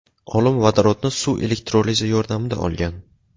Olim vodorodni suv elektrolizi yordamida olgan.